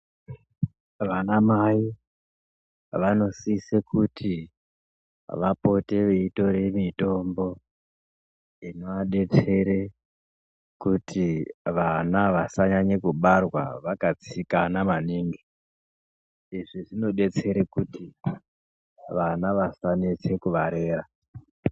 Vanamai, vanosise kuti vapote vaitore mitombo, inovadetsere kuti vana vasanyanya kubarwa vakatsikana maningi, izvi zvinodetsere kuti vana vasanetse kuvarera.